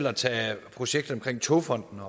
at tage projektet om togfonden